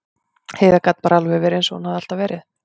Heiða gat bara alveg verið eins og hún hafði alltaf verið.